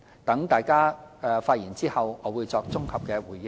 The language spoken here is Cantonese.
待大家發言後，我會作綜合回應。